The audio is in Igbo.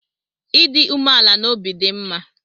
Ịdị umeala n'obi dị mma